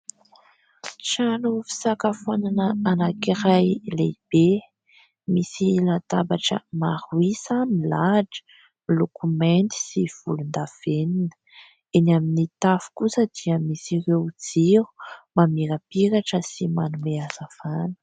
Trano fisakafoanana anankiray lehibe, misy latabatra maro isa milahatra miloko mainty sy volondavenona. Eny amin'ny tafo kosa dia misy ireo jiro mamirapiratra sy manome hazavana.